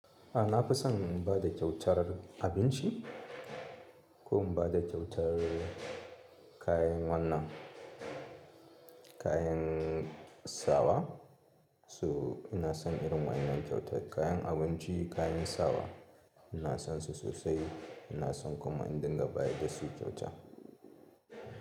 Aa, nafison bada kyautar abinci ko inbada kyautar kayan wannan, kayan sawa. So ina son irin wa innan kyautar kayan abinci, kayan sawa. Ina sonsu sosai. Ina son kuma in dinga baya dasu kyauta.